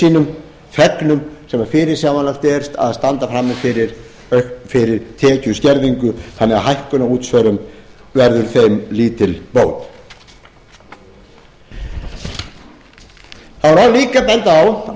sínum þegnum sem fyrirsjáanlegt er að standa frammi fyrir tekjuskerðingu þannig a hækkun á útsvari verður þeim lítil bót það má líka benda á